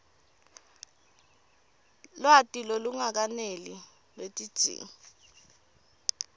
lwati lolungakeneli lwetidzingo